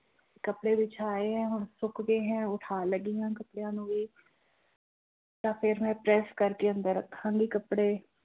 ਕੱਪੜੇ ਵਿਛਾਏ ਹੈ ਹੁਣ ਸੁੱਕ ਗਏ ਹੈ ਉਠਾਉਣ ਲੱਗੀ ਹਾਂ ਕੱਪੜਿਆਂ ਨੂੰ ਵੀ ਤਾਂ ਫਿਰ ਮੈਂ ਪਰੈਸ ਕਰਕੇ ਅੰਦਰ ਰੱਖਾਂਗੀ ਕੱਪੜੇ।